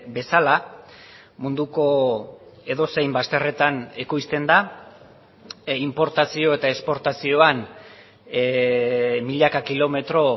bezala munduko edozein bazterretan ekoizten da inportazio eta esportazioan milaka kilometro